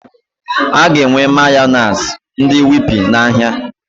Aga enwe Mayọnais ndị Whippy na ahịa